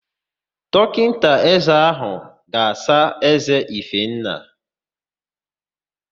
Dọkịta ézé áhụ̀ ga-asa ézé Ifenna.